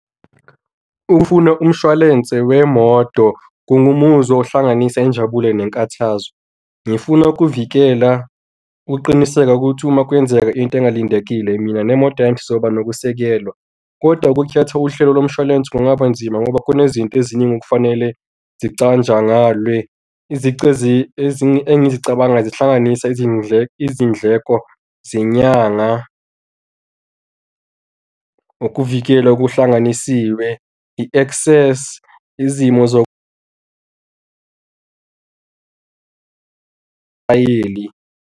Ukufuna umshwalense wemoto kungumuzwa ohlanganisa injabulo nkathazo. Ngifuna ukuvikela ukuqiniseka ukuthi uma kwenzeka into engalindekile, mina nemoto yami sizoba nokusekelwa. Kodwa, ukukhetha uhlelo lomshwalense kungaba nzima ngoba kunezinto eziningi okufanele zicatshangalwe engizicabangayo zihlanganisa izindleko, izindleko zenyanga ukuvikela okuhlanganisiwe, i-access, izimo .